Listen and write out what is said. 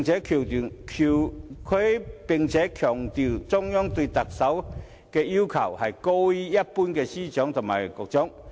他又強調，中央對特首的要求高於一般司長和局長。